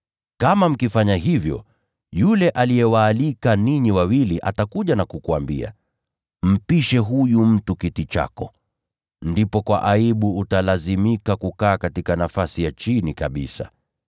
Kama mkifanya hivyo yule aliyewaalika ninyi wawili atakuja na kukuambia, ‘Mpishe huyu mtu kiti chako.’ Ndipo kwa aibu utalazimika kukaa katika nafasi ya chini kabisa.